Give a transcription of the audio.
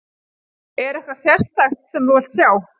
Er eitthvað sérstakt sem þú vilt sjá?